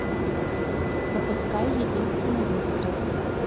запускай единственный выстрел